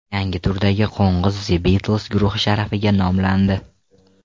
Yangi turdagi qo‘ng‘iz The Beatles guruhi sharafiga nomlandi.